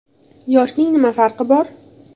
− Yoshning nima farqi bor?